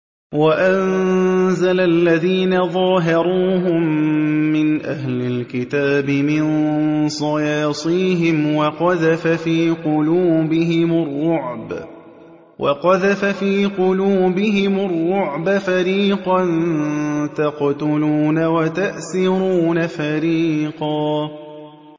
وَأَنزَلَ الَّذِينَ ظَاهَرُوهُم مِّنْ أَهْلِ الْكِتَابِ مِن صَيَاصِيهِمْ وَقَذَفَ فِي قُلُوبِهِمُ الرُّعْبَ فَرِيقًا تَقْتُلُونَ وَتَأْسِرُونَ فَرِيقًا